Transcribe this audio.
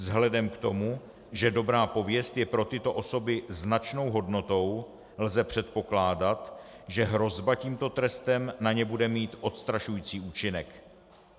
Vzhledem k tomu, že dobrá pověst je pro tyto osoby značnou hodnotou, lze předpokládat, že hrozba tímto trestem na ně bude mít odstrašující účinek.